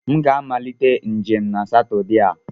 M ga-amalite njem na Satọde a.